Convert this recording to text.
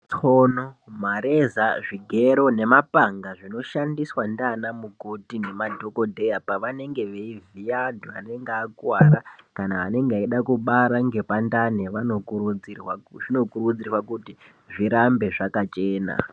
Tsono, mareza nemapanga zvinoshandiswa nanamukoti nemadhokodheya pavanenge veivhiya antu anenge akuwara kana anenge eida kubara vayani zvinokurudzirwa kuti zvirambe zvakachena.